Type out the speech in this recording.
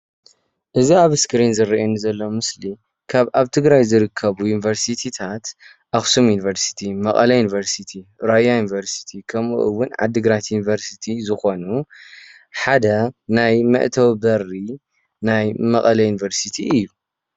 እዚ ኣብ እስክሪን ዝረአየኒ ዘሎ ምስሊ ካብ ኣብ ትግራይ ካብ ዝርከብ ዩኒቨርስትታት ኣክሱም ዩኒቨርስቲ ፣መቐለ ዩኒቨርስቲ ፣ራያ ዩኒቨርስቲ ከምኡ እውን ዓዲ ግራት ዩኒቨርስቲ ዝኮኑ ሓደ ናይ መእተዊ በሪ ናይ መቐለ ዩኒቨርስቲ እዩ፡፡